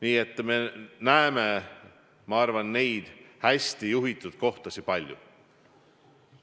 Nii et me näeme neid hästi juhitud kohtasid palju.